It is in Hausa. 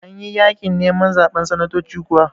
Anyi yaƙin neman zaɓen sanatoci kuwa?